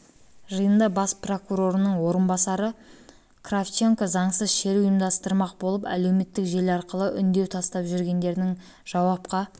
жиында бас прокурорының орынбасары кравченко заңсыз шеру ұйымдастырмақ болып әлеуметтік желі арқылы үндеу тастап жүргендердің жауапқа